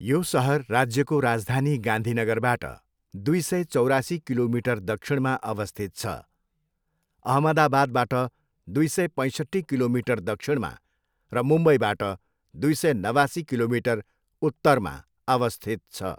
यो सहर राज्यको राजधानी गान्धीनगरबाट दुई सय, चौरासी किलोमिटर दक्षिणमा अवस्थित छ, अहमदाबादबाट दुई सय, पैसट्ठी किलोमीटर दक्षिणमा, र मुम्बईबाट दुई सय नवासी किलोमिटर उत्तरमा अवस्थित छ।